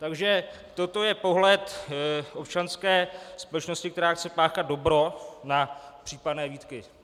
Takže toto je pohled občanské společnosti, která chce páchat dobro, na případné výtky.